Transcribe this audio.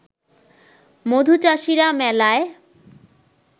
মধুচাষীরা মেলায়